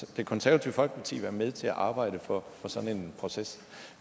det konservative folkeparti være med til at arbejde for sådan en proces